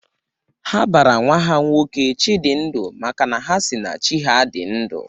Ha bara nwa ha nwoke 'Chidindu' maka na ha si na Chi ha dị ndu